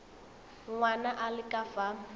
ngwana a le ka fa